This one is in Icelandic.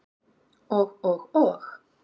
Og og og.